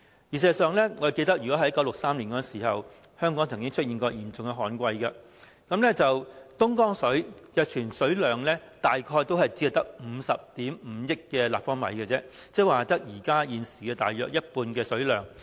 事實上，我記得在1963年時，香港曾經出現嚴重的旱季，東江水的儲水量大約只有50億 5,000 萬立方米而已，換言之，只有現時大約一半的水量。